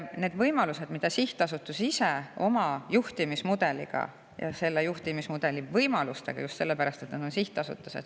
Neid võimalused saab sihtasutus ise luua oma juhtimismudeliga ja selle juhtimismudeli võimalustega, just sellepärast, et see on sihtasutus.